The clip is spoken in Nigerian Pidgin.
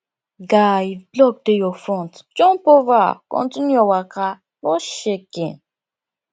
guy if block dey your front jump over continue your waka no shaking